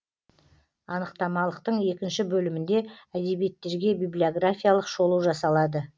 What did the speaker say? анықтамалықтың екінші бөлімінде әдебиеттерге библиографиялық шолу жасалады